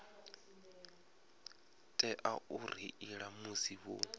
tea u reila musi vho